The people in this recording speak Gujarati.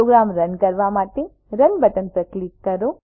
પ્રોગ્રામ રન કરવા માટે રન બટન પર ક્લિક કરો